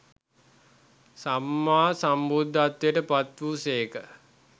සම්මා සම්බුද්ධත්වයට පත් වූ සේක.